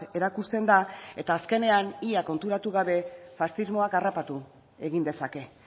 erakusten da eta azkenean ia konturatu gabe faxismoak harrapatu egin dezake